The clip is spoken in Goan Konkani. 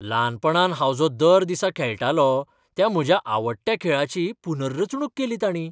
ल्हानपणांत हांव जो दर दिसा खेळटालों त्या म्हज्या आवडट्या खेळाची पुनर्रचणूक केली ताणीं!